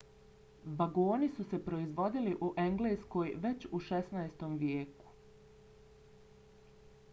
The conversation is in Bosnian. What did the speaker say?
vagoni su se proizvodili u engleskoj već u 16. vijeku